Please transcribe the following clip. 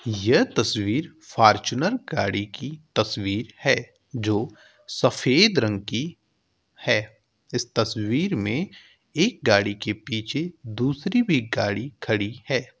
यह तस्वीर फार्च्यूनर गाड़ी की तस्वीर है जो सफेद रंग की है। इस तस्वीर में एक गाड़ी के पीछे दूसरी भी गाड़ी खड़ी है।